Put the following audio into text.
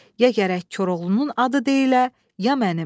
Ya gərək Koroğlunun adı deyile, ya mənim.